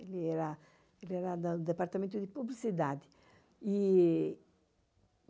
Ele era do departamento de publicidade.